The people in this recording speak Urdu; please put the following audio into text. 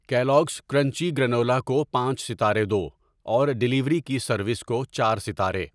کیلوگز کرنچی گرنولا کو پانچ ستارے دو اور ڈیلیوری کی سروس کو چار ستارے۔